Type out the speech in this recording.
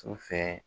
Su fɛ